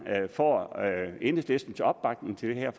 får enhedslistens opbakning til det her